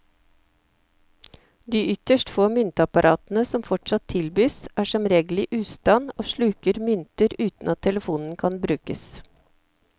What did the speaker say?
De ytterst få myntapparatene som fortsatt tilbys, er som regel i ustand og sluker mynter uten at telefonen kan brukes.